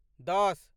दश